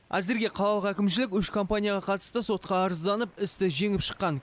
әзірге қалалық әкімшілік үш компанияға қатысты сотқа арызданып істі жеңіп шыққан